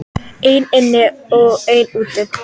Einn inn og einn út!